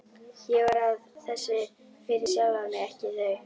Ég var að þessu fyrir sjálfan mig, ekki þau.